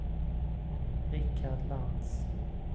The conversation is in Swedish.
Rikard Lantz